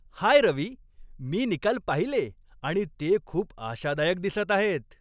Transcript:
हाय रवी, मी निकाल पाहिले आणि ते खूप आशादायक दिसत आहेत.